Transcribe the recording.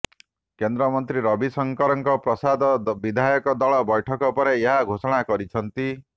କେନ୍ଦ୍ରମନ୍ତ୍ରୀ ରବିଶଙ୍କର ପ୍ରସାଦ ବିଧାୟକ ଦଳ ବୈଠକ ପରେ ଏହା ଘୋଷଣା କରିଛନ୍ତି